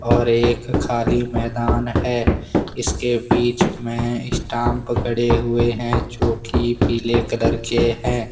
और एक खाली मैदान है इसके बीच में स्टांप पड़े हुए हैं जोकि पीले कलर के हैं।